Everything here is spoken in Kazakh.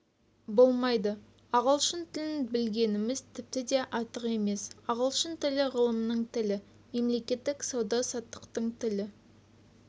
болмайды ағылшын тілін білгеніміз тіпті де артық емес ағылшын тілі ғылымның тілі мемлекеттік сауда-саттықтың тілі